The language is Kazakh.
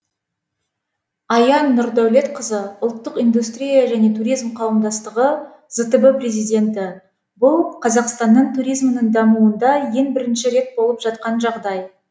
ая нұрдәулетқызы ұлттық индустрия және туризм қауымдастығы зтб президенті бұл қазақстанның туризмінің дамуында ең бірінші рет болып жатқан жағдай